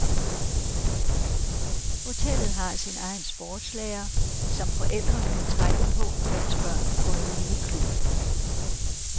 Hotellet har sin egen sportslærer, som forældrene kan trække på, mens børnene går i miniklub.